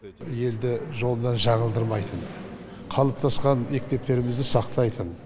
елді жолынан жаңылдырмайтын қалыптасқан мектептерімізді сақтайтын